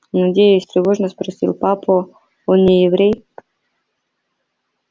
надеюсь тревожно спросил папа он не еврей